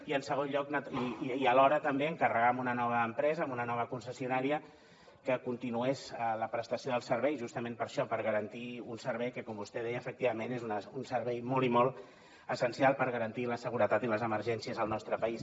i en segon lloc i alhora també encarregar a una nova empresa a una nova concessionària que continués la prestació dels serveis justament per això per garantir un servei que com vostè deia efectivament és un servei molt i molt essencial per garantir la seguretat i les emergències al nostre país